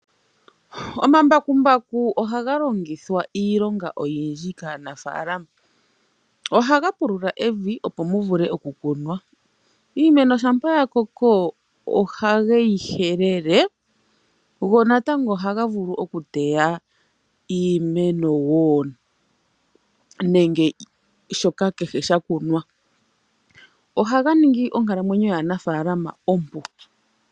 Omambakumbaku ohaga longithwa iilonga oyindji kaanafaalama. Ohaga pulula evi opo mu vule okukunwa. Iimeno shampa ya koko ohage yi helele go natango ohaga vulu okuteya iimeno woo nenge kehe shoka sha kunwa, ohaga ningi onkalamwenyo yaanafaalama ompu.